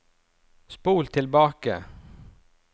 spol tilbake